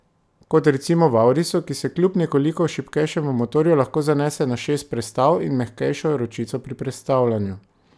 Kot recimo v aurisu, ki se kljub nekoliko šibkejšemu motorju lahko zanese na šest prestav in mehkejšo ročico pri prestavljanju.